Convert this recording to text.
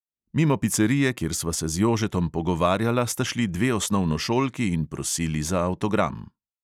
Mimo picerije, kjer sva se z jožetom pogovarjala, sta šli dve osnovnošolki in prosili za avtogram.